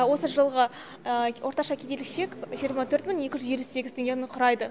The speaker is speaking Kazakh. осы жылғы орташа кедейлік шек жиырма төрт мың екі жүз елу сегіз теңгені құрайды